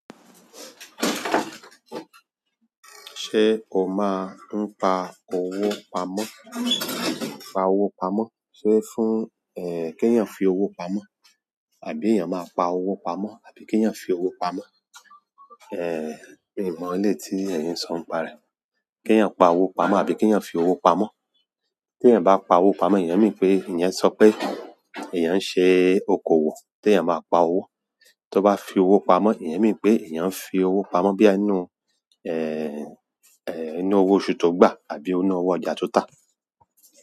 Ṣé o máa ń pa owó pamọ́? Pa owó pamọ́. Sé fún, kí èèyàn fi owó pamọ́ àbí èèyàn máa pa owó pamọ́ àbí kí èèyàn fi owó pamọ́? Mi o mọ eleyi ti ẹyin so nípa rẹ. Kí ẹ̀yin pa owó pamọ́ àbí kí ẹ̀yin fi owó pamọ́? Tí èèyàn bá pa owó pamọ́, ìyẹn mean pé èèyàn so pé èèyàn ń ṣe okòwò tí èèyàn máa pa owó. Tí ó bá fi owó pamọ́, ìyẹn mean pé èèyàn ń fi owó pamọ́ bóyá nínú, inú owó oṣù tó gbà àbí inú owó ọjà tó tà.